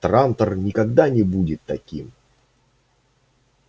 трантор никогда не будет таким